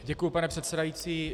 Děkuji, pane předsedající.